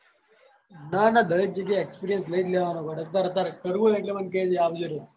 ના ના દરેક જગ્યાએ experience લઇ લેવાનો ગોડા તાર કર કર કરવું હોય એટલે કે જે મન આવ જે રો